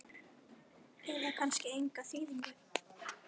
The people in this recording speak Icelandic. eða kannski enga þýðingu?